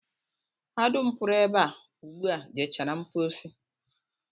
Ha dum pụrụ ebe a ugbu a jechara mpochi